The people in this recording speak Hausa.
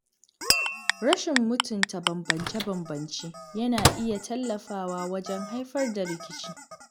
Rashin mutunta bambance-bambance yana iya tallafawa wajen haifar da rikici.